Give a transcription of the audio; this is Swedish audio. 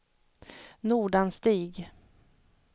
Nordanstig